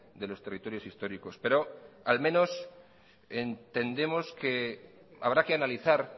de los territorios históricos pero al menos entendemos que habrá que analizar